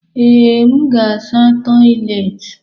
Ee, m ga-asa toịletị.